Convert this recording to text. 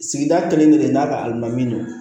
Sigida kelen kelen n'a ka alimami don